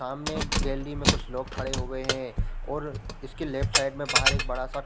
सामने गैलरी में कुछ लोग खड़े हो गये है और इसके लेफ्ट साइड में बाहर एक बड़ा-सा --